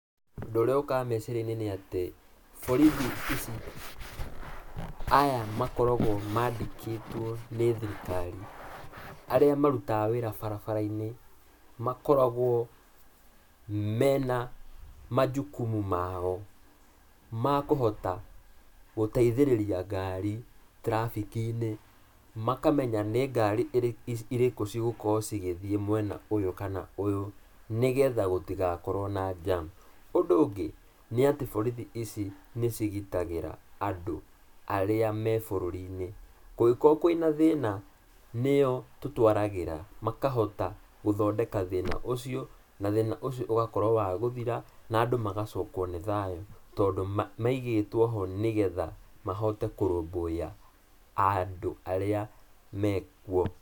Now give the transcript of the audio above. Ũndũ ũrĩa ũkaga meciria-inĩ nĩ atĩ, borithi ici, aya makoragwo mandĩkĩtwo nĩ thirikari, arĩa marutaga wĩra barabara-inĩ, makoragwo mena manjukumu mao makũhota gũteithĩrĩria ngari traffic -inĩ, makamenya nĩ ngari ĩrĩkũ, irĩkũ cigokorwo cigĩthiĩ mwena ũyũ na ũyũ ũngĩ, nĩgetha gũtigakorwo na jam. Ũndũ ũngĩ, nĩ atĩ borithi ici nĩ cigitagĩra andũ arĩa mebũrũri-inĩ. Kũngĩkorwo kwĩna thĩna nĩo tũtwaragĩra makahota gũthondeka thĩna ũcio, na thĩna ũcio ũgatũĩka wa gũthira, na andũ magacokwo nĩ thayũ tondũ maigĩtwoho nĩgetha mahote kũrũmbũiya andũ arĩa mekuo.